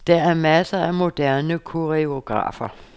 Der er masser af moderne koreografer.